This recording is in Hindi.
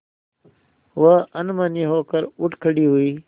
वह अनमनी होकर उठ खड़ी हुई